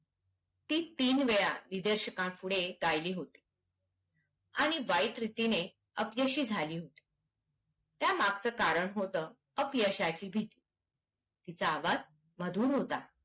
ती तीन वेळा विदेशकपूढे गायली होती आणि वाईट रीतीने अपयशी झाली होती त्या मागचं कारण होत अपयशाची भीती. तिचा आवाज मधुर होता